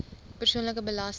persoonlike belasting